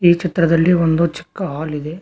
ಈ ಚಿತ್ರದಲ್ಲಿ ಒಂದು ಚಿಕ್ಕ ಹಾಲ್ ಇದೆ.